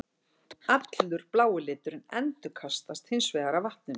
Allur blái liturinn endurkastast hins vegar af vatninu.